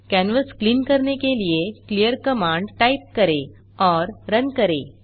canvas clean करने के लिए क्लीयर कमांड टाइप करें और रन करें